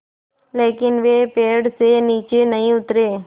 लेकिन वे पेड़ से नीचे नहीं उतरे